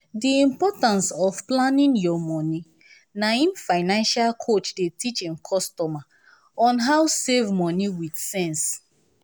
di importance of planning your money na im financial coach dey teach im customer on how save money with sense.